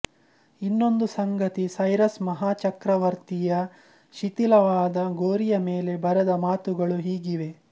ಇನ್ನೊಂದು ಸಂಗತಿ ಸೈರಸ್ ಮಹಾಚಕ್ರವರ್ತಿಯ ಶಿಥಿಲವಾದ ಗೋರಿಯಮೇಲೆ ಬರೆದ ಮಾತುಗಳು ಹೀಗಿವೆ